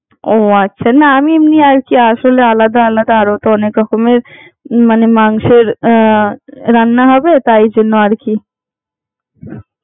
ও আচ্ছা না আমি আর কি এমনি আসলে আলাদা আলাদা আলাদা রকমের মানে মাংসের রান্না হবে তাই জন্য আর কি।